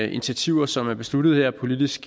initiativer som er besluttet her politisk